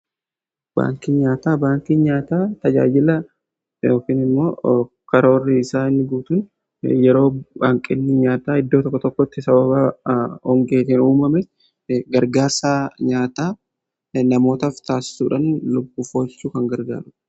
Baankii nyaataa baankii nyaataa tajaajila immoo karoorii isaa inni guutuun yeroo baankii nyaataa iddoo tokko tokkotti sababa hongeetiin uumame gargaarsa nyaataa namootaf taasisuudhan lubbuu oolchuuf kan gargaarudha.